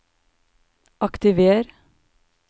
aktiver